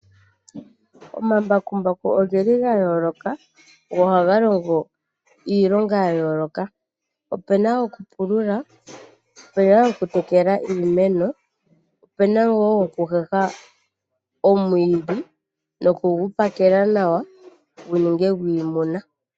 Omambakumbaku oge li gayooloka, go ohaga longo iilonga yayooloka. Opuna gokupulula , opuna gokutekela iimeno, opuna wo gokuteta omwiidhi nokugu pakela nawa guninge gwiimuna.